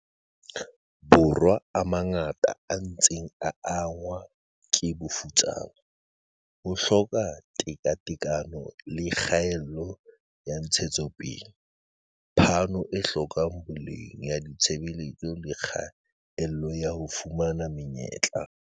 Borwa a mangata a ntse a angwa ke bofutsana, ho hloka tekatekano le kgaello ya ntshetsopele, phano e hlokang boleng ya ditshebeletso le kgaello ya ho fumana me nyetla.